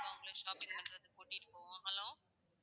உங்களை shopping பண்றதுக்கு கூட்டிட்டு போவோம் hello